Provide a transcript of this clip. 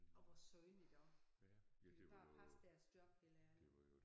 Og hvor synd iggå. De ville bare passe deres job helt ærligt